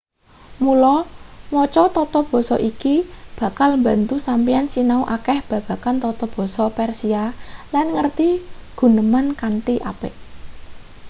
mula maca tata basa iki bakal mbantu sampeyan sinau akeh babagan tata basa persia lan ngerti guneman kanthi apik